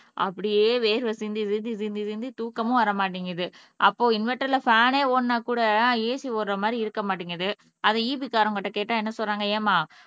அப்படியே வேர்வை சிந்தி விதி சிந்தி சிந்தி தூக்கமும் வர மாட்டேங்குது அப்போ இன்வெர்டர்ல ஃபேன்னே ஓடுனா கூட AC ஓடுற மாறி இருக்க மாட்டீங்குது அதை EB காரங்ககிட்ட கேட்டா என்ன சொல்றாங்க ஏம்மா